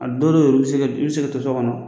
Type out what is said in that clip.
A dɔw yɛr'u i bɛ se ka to sokɔnɔ